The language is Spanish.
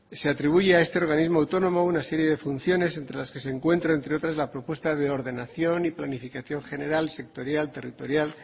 se atribuye a este organismo autónomo una serie de funciones entre las que se encuentra entre otras la propuesta de ordenación y planificación general sectorial territorial